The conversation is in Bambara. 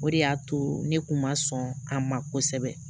O de y'a to ne kun ma sɔn a ma kosɛbɛ